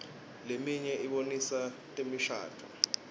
leminye ibonisa temishadvo